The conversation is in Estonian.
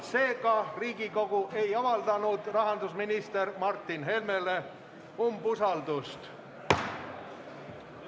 Seega, Riigikogu ei avaldanud rahandusminister Martin Helmele umbusaldust.